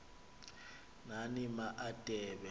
nani ma adebe